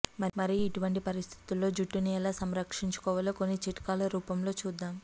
మరి ఇటువంటి పరిస్థితుల్లో జుట్టుని ఎలా సంరక్షించుకోవాలో కొన్ని చిట్కాల రూపంలో చూద్దాం